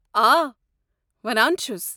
آ، ولان چھُس ۔